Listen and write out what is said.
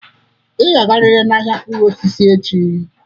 Ị ga-agarịrị n'ahịa mkpụrụ osisi echi!